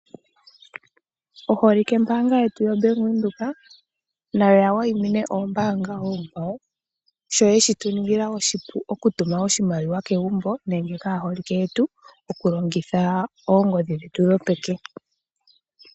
Oholikembaanga yetu yoBank Windhoek nayo ya wayimine oombaanga oonkwawo sho ye shi tuningila oshipu okutuma oshimaliwa kegumbo nenge kaaholike yetu okulongitha oongodhi dhetu dhopeke.